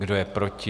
Kdo je proti?